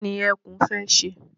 Kí ni ẹkún fẹ́ ṣe?